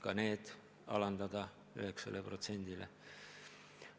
Ka nende käibemaksu võiks alandada 9%-le.